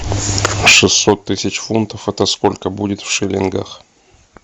шестьсот тысяч фунтов это сколько будет в шиллингах